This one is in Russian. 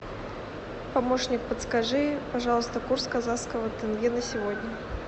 помощник подскажи пожалуйста курс казахского тенге на сегодня